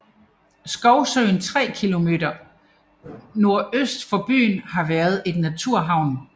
Skovsøen 3 km nordøst for byen har været en naturhavn